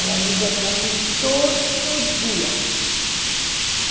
Ela liga para mim todo dia.